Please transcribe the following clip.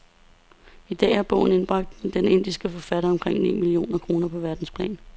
I dag har bogen indbragt den indiske forfatter omkring ni millioner kroner på verdensplan.